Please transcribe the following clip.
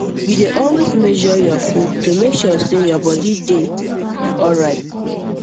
you dey always measure your food to make sure say your body dey body dey alright